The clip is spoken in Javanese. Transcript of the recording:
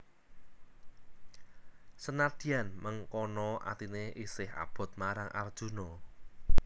Senadyan mengkono atiné isih abot marang Arjuna